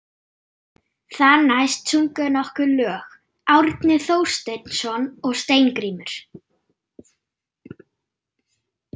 Þar næst sungu þeir nokkur lög, Árni Thorsteinsson og Steingrímur